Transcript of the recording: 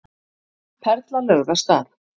Perla lögð af stað